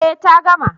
Eh ta gama